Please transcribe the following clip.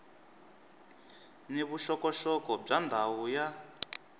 ni vuxokoxoko bya ndhawu ya